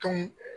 Tɔn